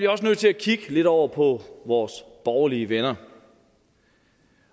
også nødt til at kigge lidt over på vores borgerlige venner